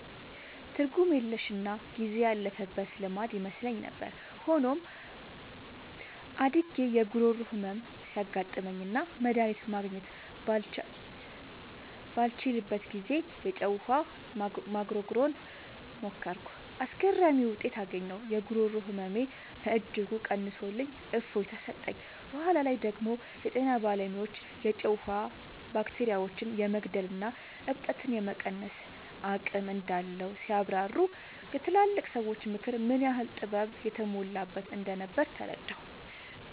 ትርጉም የለሽና ጊዜ ያለፈበት ልማድ ይመስለኝ ነበር። ሆኖም፣ አድጌ የጉሮሮ ህመም ሲያጋጥመኝና መድሃኒት ማግኘት ባልችልበት ጊዜ፣ የጨው ውሃ መጉርጎርን ሞከርኩ። አስገራሚ ውጤት አገኘሁ! የጉሮሮ ህመሜን በእጅጉ ቀንሶልኝ እፎይታ ሰጠኝ። በኋላ ላይ ደግሞ የጤና ባለሙያዎች የጨው ውሃ ባክቴሪያዎችን የመግደልና እብጠትን የመቀነስ አቅም እንዳለው ሲያብራሩ፣ የትላልቅ ሰዎች ምክር ምን ያህል ጥበብ የተሞላበት እንደነበር ተረዳሁ።